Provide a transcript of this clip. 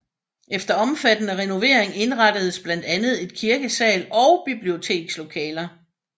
Efter omfattende renoveringer indrettedes blandt andet et kirkesal og bibliotekslokaler